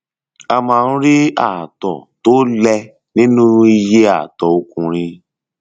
a máa ń rí ààtọ tó lẹ nínú iye àtọ ọkùnrin